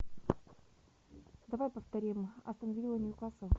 давай повторим астон вилла ньюкасл